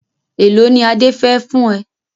Èlò ni Adé fẹ fún ẹ?